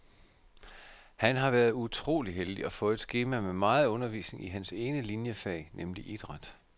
Han har været utrolig heldig og fået et skema med meget undervisning i hans ene liniefag, nemlig idræt.